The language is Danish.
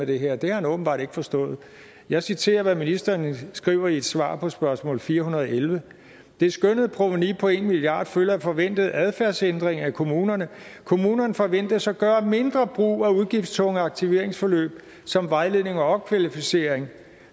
det her er det har han åbenbart ikke forstået jeg citerer hvad ministeren skriver i et svar på spørgsmål 411 det skønnede provenu på en milliard kroner følger af forventede adfærdsændringer i kommunerne kommunerne forventes at gøre mindre brug af udgiftstunge aktiveringsforløb som vejledning og opkvalificering